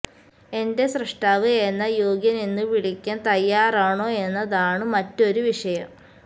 എൻറെ സ്രഷ്ടാവ് എന്നെ യോഗ്യൻ എന്നു വിളിക്കാൻ തയ്യാറാണോ എന്നതാണു മറ്റൊരു വിഷയം